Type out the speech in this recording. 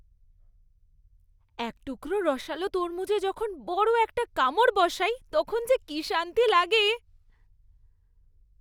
এক টুকরো রসালো তরমুজে যখন বড় একটা কামড় বসাই তখন কী যে শান্তি লাগে!